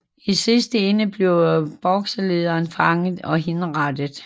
I sidste ende blev Bokserledere fanget og henrettet